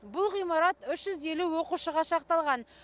бұл ғимарат үш жүз елу оқушыға шақталған